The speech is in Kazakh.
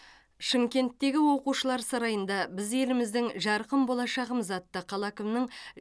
шымкенттегі оқушылар сарайында біз еліміздің жарқын болашағымыз атты қала әкімінің